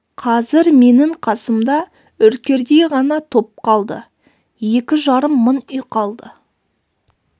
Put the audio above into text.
қазір менің қасымда үркердей ғана топ қалды екі жарым мың үй қалды